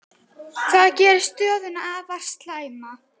Það geri stöðuna afar slæma.